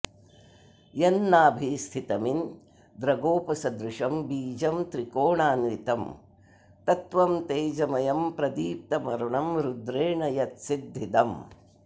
यन्नाभिस्थितमिन्द्रगोपसदृशं बीजं त्रिकोणाऽन्वितं तत्त्वं तेजमयं प्रदीप्तमरुणं रुद्रेण यत्सिद्धिदम्